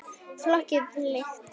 Flokki fylkt.